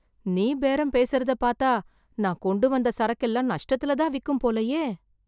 நீ பேரம் பேசறத பாத்தா நான் கொண்டு வந்த சரக்கெல்லாம் நஷ்டத்துல தான் விக்கும் போலயே.